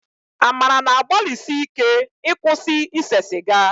Amara na-agbalisíké ịkwụsị ịse sịga